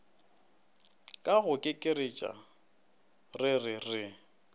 ka go kekeretša rere re